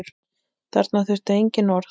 Þarna þurfti engin orð.